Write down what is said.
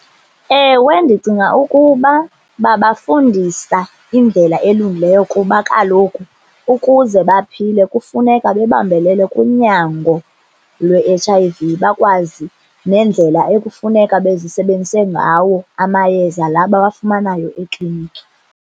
Ewe, ndicinga ukuba babafundisa indlela elungileyo kuba kaloku ukuze baphile kufuneka bebambelele kunyango lwe-H_I_V, bakwazi nendlela ekufuneka bezisebenzise ngawo amayeza laa bawafumanayo ekliniki.